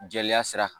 Jɛlenya sira kan